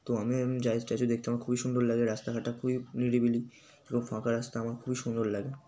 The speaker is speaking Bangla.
তো আমি এমনি স্ট্যাচু দেখতে আমার খুবই সুন্দর লাগে। রাস্তা ঘাট টা খুবই নিরিবিলি এবং ফাঁকা রাস্তা আমার খুবই সুন্দর লাগে।